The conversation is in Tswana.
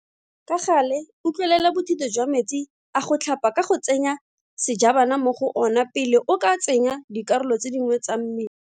Ka gale utlwelela bothitho jwa metsi a go tlhapa ka go tsenya sejabana mo go ona pele o ka tsenya dikarolo tse dingwe tsa mme.